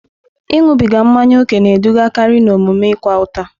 Ịṅụbiga mmanya ókè na-edugakarị n'omume ịkwa ụta.